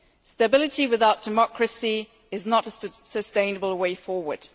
Stability without democracy is not a sustainable way forward.